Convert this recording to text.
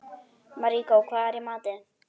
Maríkó, hvað er í matinn?